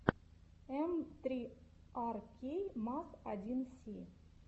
эм три ар кей маз один си